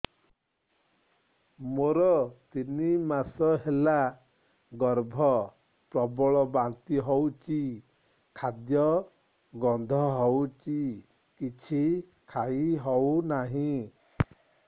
ମୋର ତିନି ମାସ ହେଲା ଗର୍ଭ ପ୍ରବଳ ବାନ୍ତି ହଉଚି ଖାଦ୍ୟ ଗନ୍ଧ ହଉଚି କିଛି ଖାଇ ହଉନାହିଁ